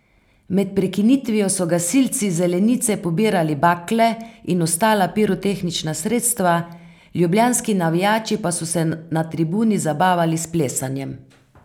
Med prekinitvijo so gasilci z zelenice pobirali bakle in ostala pirotehnična sredstva, ljubljanski navijači pa so se na tribuni zabavali s plesanjem.